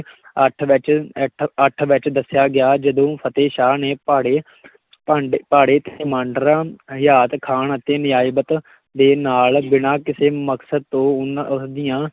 ਅੱਠ ਵਿੱਚ ਇੱਠ ਅੱਠ ਵਿੱਚ ਦੱਸਿਆ ਗਿਆ, ਜਦੋਂ ਫਤਿਹ ਸ਼ਾਹ ਨੇ ਭਾੜੇ ਭਾਂਡੇ ਕਮਾਂਡਰਾਂ ਹਯਾਤ ਖਾਨ ਅਤੇ ਨਜਾਬਤ ਦੇ ਨਾਲ, ਬਿਨਾਂ ਕਿਸੇ ਮਕਸਦ ਤੋਂ ਉਹਨਾਂ ਉਸ ਦੀਆਂ